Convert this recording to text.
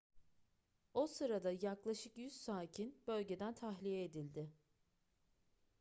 o sırada yaklaşık 100 sakin bölgeden tahliye edildi